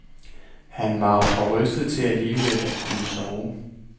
Han var for rystet til alligevel at kunne sove.